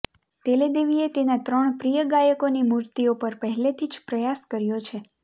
તેલેદેવીએ તેના ત્રણ પ્રિય ગાયકોની મૂર્તિઓ પર પહેલેથી જ પ્રયાસ કર્યો છે